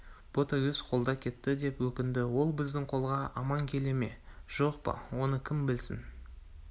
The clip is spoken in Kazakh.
ботагөз қолда кетті деп өкінді ол біздің қолға аман келе ме жоқ па оны кім білсін